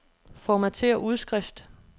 Formatér udskrift.